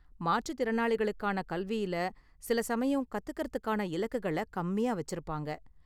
மாற்றுத் திறனாளிகளுக்கான கல்வியில சில சமயம் கத்துக்கிறதுக்கான இலக்குகள கம்மியா வச்சிருப்பாங்க..